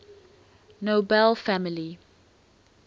nobel family